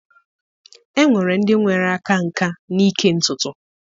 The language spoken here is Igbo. Enwere ndị nwere aka nkà n'ịke ntutu.